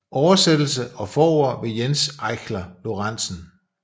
Oversættelse og forord ved Jens Eichler Lorenzen